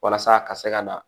Walasa a ka se ka na